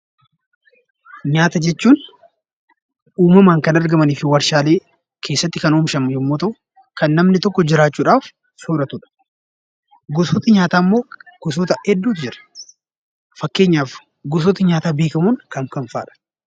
Nyaata jechuun; uumamaan Kan argamaanifi waarshalee keessatti Kan oomishamaan yoommuu ta'u Kan namni tokko jiraachuudhaf sooratudha. gosootni nyaata immoo gosoota hedduu jira. Fakkeenyaaf gosoota nyaata beekamoon kam kam fa'adha?